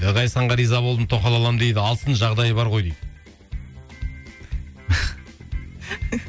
ғазизханға риза болдым тоқал аламын дейді алсын жағдайы бар ғой дейді